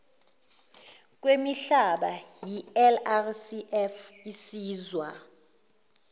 kwemihlaba ilrcf isizwa